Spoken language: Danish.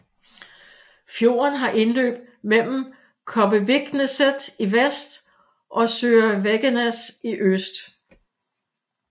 Fjorden har indløb mellem Kobbevikneset i vest og Søre Veggenes i øst